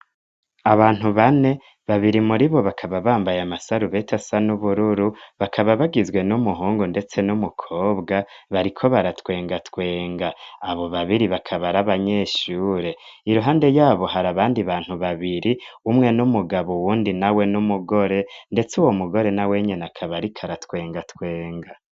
Abantu bane, babiri muri bo bakaba bambaye amasarubeti asa n'ubururu, bakaba bagizwe n'umuhungu ndetse n'umukobwa bariko baratwengatwenga, abo babiri bakaba ar'abanyeshure, iruhande yabo hari abandi bantu babiri, umwe n'umugabo uwundi nawe n'umugore, ndetse uwo mugore nawe nyene akaba ariko ara twenga twenga.